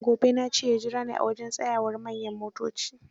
Gobe na ce ya jura ni a wajen tsayawar manyan motoci.